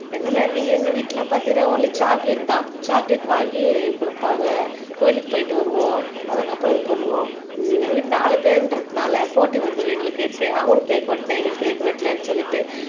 என்னன்னா எங்க வீட்டுல பாத்தீங்கன்னா ஒன்லி சாக்லேட் தான் சாக்லேட் வாங்கி குடுப்பாங்க கோயிலுக்கு போயிட்டு வருவோம் அதுக்கப்புறம் இது பண்ணுவோம் உம் எங்க வீட்டுல நாலு பேருன்றதனால போட்டி வந்துரும் எங்களுக்கு அவங்களுக்கு கேக் வெட்டினா எங்களுக்கு கேக் வெட்டலைன்னு சொல்லிட்டு அஹ்